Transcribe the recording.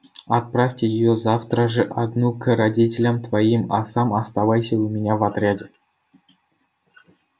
отправь её завтра ж одну к родителям твоим а сам оставайся у меня в отряде